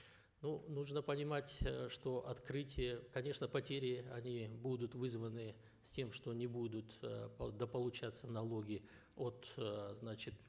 ну нужно понимать э что открытие конечно потери они будут вызваны с тем что не будут э дополучаться налоги от э значит